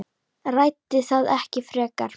Ræddi það ekki frekar.